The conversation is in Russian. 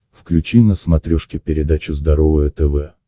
включи на смотрешке передачу здоровое тв